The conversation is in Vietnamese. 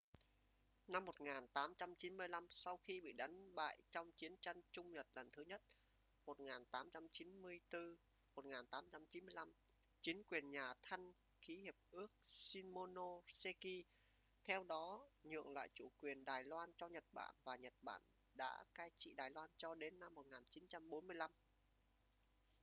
năm 1895 sau khi bị đánh bại trong chiến tranh trung-nhật lần thứ nhất 1894-1895 chính quyền nhà thanh ký hiệp ước shimonoseki theo đó nhượng lại chủ quyền đài loan cho nhật bản và nhật bản đã cai trị đài loan cho đến năm 1945